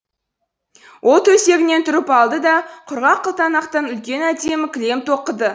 ол төсегінен тұрып алды да құрғақ қылтанақтан үлкен әдемі кілем тоқыды